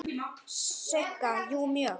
Sigga: Jú, mjög.